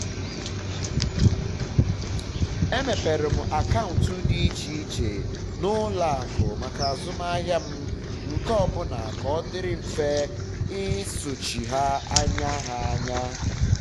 emepere m akaụntụ di iche iche na ụlọ akụ maka azụmahiịa m nke ọ bụla ka ọ dịrị mfe i sochi ha anya ha anya